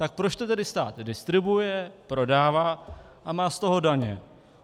Tak proč to tedy stát distribuuje, prodává a má z toho daně?